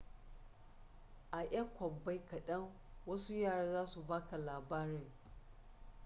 a 'yan kwabbai kadan wasu yara za su ba ka labarin